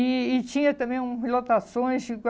E e tinha também uns lotações.